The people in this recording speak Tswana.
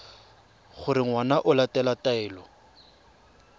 gore ngwana o latela taelo